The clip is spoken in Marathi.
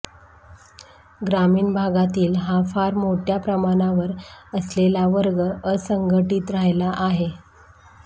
ग्रामिण भागातील हा फार मोठया प्रमाणावर असलेला वर्ग असंघटीत राहिला आहे